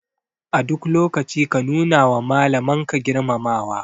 A duk lokaci ka nuna wa Malaman ka girmamawa.